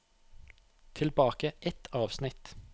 Tilbake ett avsnitt